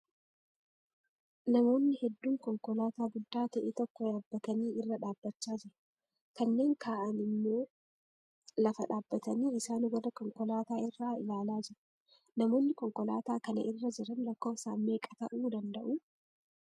Namoonni hedduun konkolaataa guddaa ta'e tokko yaabbatanii irra dhaabbachaa jiru, kanneen kaa'aan immoo lafa dhaabbatanii isaan warra konkolaataa irraa ilaalaa jiru. Namoonni konkolaata kana irra jiran lakkoofsaan meeqa ta'uu danda'uu?